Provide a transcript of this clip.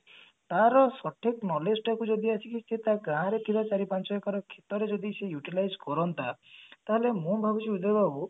ତାର ସଠିକ knowledge ଟାକୁ ଯଦି ଆସିକି ତା ଗାଁରେ ଥିବା ଚାରି ପାଞ୍ଚ ଏକର କ୍ଷେତରେ ଯଦି ସେ utilize କରନ୍ତା ତାହେଲେ ମୁଁ ଭାବୁଛି ଉଦୟ ବାବୁ